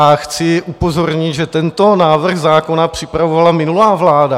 A chci upozornit, že tento návrh zákona připravovala minulá vláda.